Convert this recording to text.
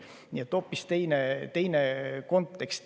Kontekst on hoopis teine.